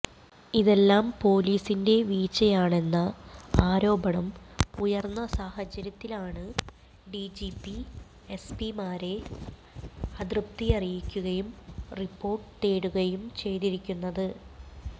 ഇതെല്ലാം പോലിസിന്റെ വീഴ്ചയാണെന്ന ആരോപണം ഉയര്ന്ന സാഹചര്യത്തിലാണ് ഡിജിപി എസ്പിമാരെ അതൃപ്തിയറിയിക്കുകയും റിപോര്ട്ട് തേടുകയും ചെയ്തിരിക്കുന്നത്